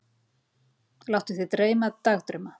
Láttu þig dreyma dagdrauma.